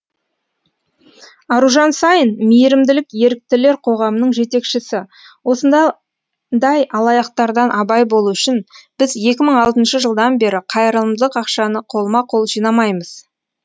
аружан саин мейірімділік еріктілер қоғамының жетекшісі осындай алаяқтардан абай болу үшін біз екі мың алтыншы жылдан бері қайырымдылық ақшаны қолма қол жинамаймыз